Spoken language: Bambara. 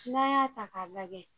n'an y'a ta k'a lajɛ